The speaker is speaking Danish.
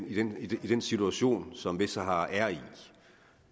i den i den situation som vestsahara er i